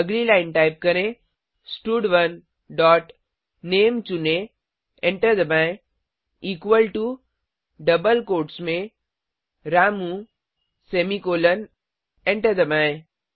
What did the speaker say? अगली line type करें स्टड1 डॉट नामे चुनें एंटर दबाएँ इक्वल टो डबल कोट्स में रामू सेमीकॉलन एंटर दबाएँ